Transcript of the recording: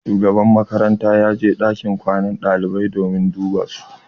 Shugaban makaranta ya je ɗakin kwanan ɗalibai don duba su.